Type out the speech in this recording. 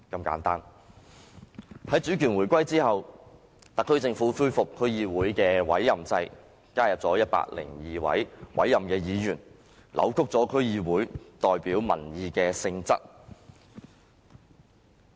在主權回歸後，特區政府恢復區議會的委任制，加入102位委任議員，扭曲區議會代表民意的性質。